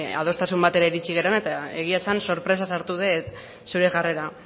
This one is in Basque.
adostasun batera iritsi garena eta egia esan sorpresa sartu dut zure jarrera